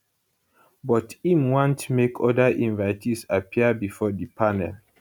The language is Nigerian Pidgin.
but im want make oda invitees appear bifor di panel